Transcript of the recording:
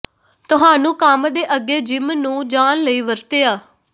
ਤੁਹਾਨੂੰ ਕੰਮ ਦੇ ਅੱਗੇ ਜਿੰਮ ਨੂੰ ਜਾਣ ਲਈ ਵਰਤਿਆ